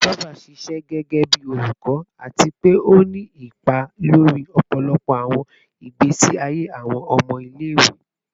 Christopher ṣiṣẹ gẹgẹbi olukọ ati pe o ni ipa lori ọpọlọpọ awọn igbesi aye awọn ọmọ ile-iwe